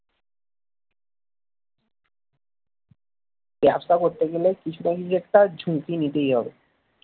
ব্যবসা করতে গেলে কিছু না কিছু একটা ঝুঁকি নিতেই হবে